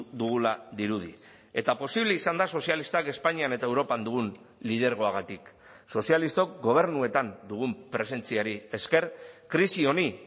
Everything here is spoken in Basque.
dugula dirudi eta posible izan da sozialistak espainian eta europan dugun lidergoagatik sozialistok gobernuetan dugun presentziari esker krisi honi